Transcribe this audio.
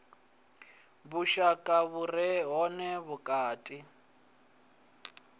vhushaka vhu re hone vhukati